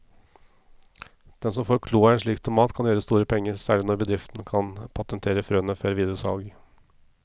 Den som får kloa i en slik tomat kan gjøre store penger, særlig når bedriften kan patentere frøene før videre salg.